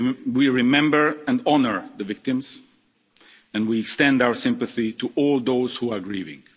We remember and honour the victims, and we extend our sympathy to all those who are grieving.